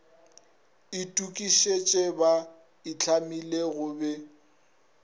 itokišitše ba itlhamile go be